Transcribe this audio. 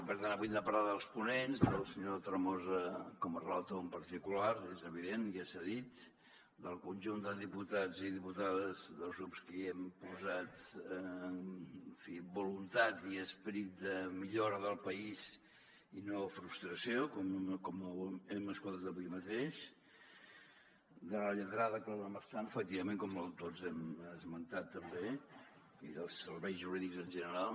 per tant avui hem de parlar dels ponents del senyor tremosa com a relator en particular és evident ja s’ha dit del conjunt de diputats i diputades dels grups que hi hem posat en fi voluntat i esperit de millora del país i no frustració com hem escoltat avui mateix de la lletrada clara marsan efectivament com tots hem esmentat també i dels serveis jurídics en general